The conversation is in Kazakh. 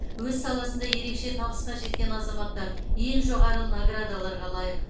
өз саласында ерекше табысқа жеткен азаматтар ең жоғары наградаларға лайық